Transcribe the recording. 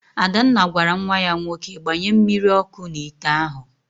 Adanna gwara nwa ya nwoke, gbanye mmiri ọkụ n'ite ahụ!